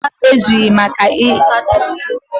Gbamgbam ezughị maka ime ụlọ.